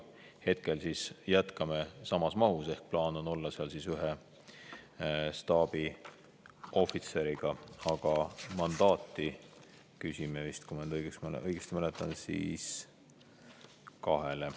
Hetkel jätkame samas mahus ehk plaan on olla seal ühe staabiohvitseriga, aga mandaati küsime, kui ma õigesti mäletan, kahele.